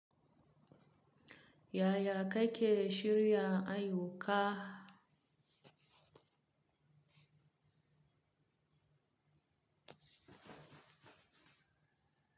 Ya ya kake shirya ayyuka?